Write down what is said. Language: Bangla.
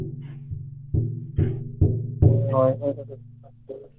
হম wifi টাকে